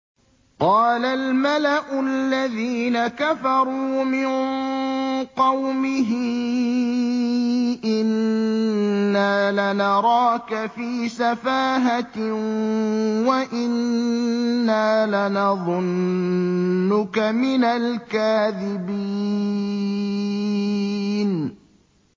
قَالَ الْمَلَأُ الَّذِينَ كَفَرُوا مِن قَوْمِهِ إِنَّا لَنَرَاكَ فِي سَفَاهَةٍ وَإِنَّا لَنَظُنُّكَ مِنَ الْكَاذِبِينَ